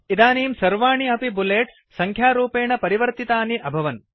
इदानीम् सर्वाणि अपि बुलेट्स् सङ्ख्यारूपेण परिवर्तितानि अभवन्